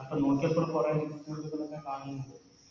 അപ്പൊ നോക്കിയപ്പോ കൊറേ Recuritments കാലൊക്കെ കാണുന്നുണ്ട്